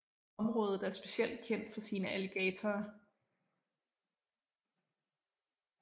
Området er specielt kendt for sine alligatorer